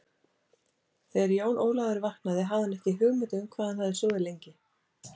Þegar Jón Ólafur vaknaði hafði hann ekki hugmynd um hvað hann hafði sofið lengi.